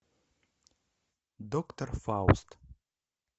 доктор фауст